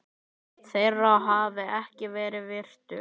þeirra hafi ekki verið virtur.